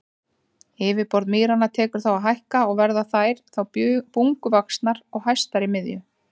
Yfirborð mýranna tekur þá að hækka og verða þær þá bunguvaxnar og hæstar í miðju.